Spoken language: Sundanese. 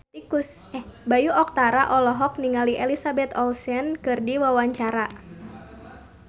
Bayu Octara olohok ningali Elizabeth Olsen keur diwawancara